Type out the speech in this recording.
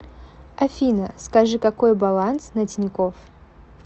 афина скажи какой баланс на тинькофф